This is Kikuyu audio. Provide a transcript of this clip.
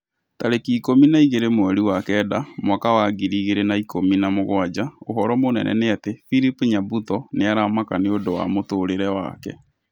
Tarĩki ikũmi na igĩrĩ mweri wa kenda mwaka wa ngiri igĩrĩ na ikũmi na mũgwaja ũhoro mũnene nĩ ati philip nyabuto nĩ aramaka nĩũndũ wa mũtũrĩre wake